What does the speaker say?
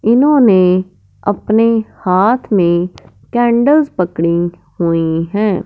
इन्होंने अपने हाथ में कैंडल्स पकड़ी हुई है।